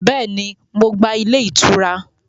Béèni, Mo gba ilé ìtura